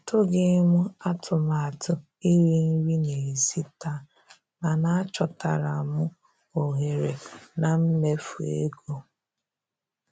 Atụghị m atụmatụ iri nri n'èzí taa, mana achọtara m ohere na mmefu ego.